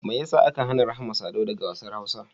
Mai ya sa aka hana Rahma Sadau daga wassan Hausa?